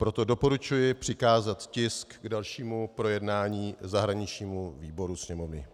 Proto doporučuji přikázat tisk k dalšímu projednání zahraničnímu výboru Sněmovny.